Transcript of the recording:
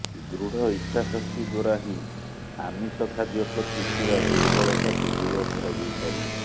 ଦୃଢ଼ ଇଚ୍ଛାଶକ୍ତି ଦ୍ୱାରା ହିଁ ଆମିଷ ଖାଦ୍ୟ ପ୍ରତି ଥିବା ଦୁର୍ବଳତାକୁ ଦୂର କରାଯାଇପାରିବ